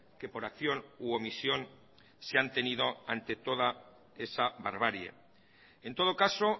que por acción u omisión se han tenido ante toda esa barbarie en todo caso